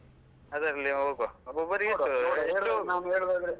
ಅದರಲ್ಲೆ ಹೋಗುವ. ಒಬ್ಬೊಬ್ಬರಿಗೆ .